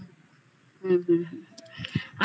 হুম হুম হুম হুম হুম হুম হুম